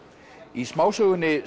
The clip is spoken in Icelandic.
í smásögunni